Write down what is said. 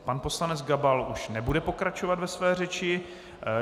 Pan poslanec Gabal už nebude pokračovat ve své řeči.